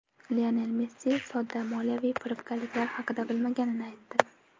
Lionel Messi sudda moliyaviy firibgarliklar haqida bilmaganini aytdi.